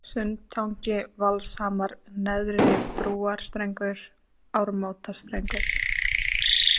Sundtangi, Valshamar, Neðri-Brúarstrengur, Ármótastrengur